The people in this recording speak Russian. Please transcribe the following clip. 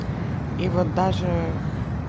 и вот даже